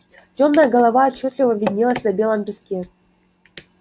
тёмная голова отчётливо виднелась на белом песке